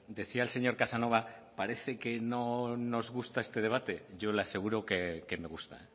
decía el señor casanova parece que no nos gusta este debate yo le aseguro que me gusta